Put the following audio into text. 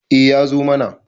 eh ya zo mana